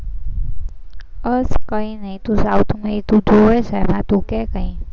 બસ કઈ નઈ, તું south માં તું જોવે છે ને તું કંઈક કે